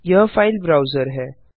यह file browser है